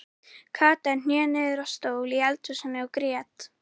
Kata hné niður á stól í eldhúsinu og grét.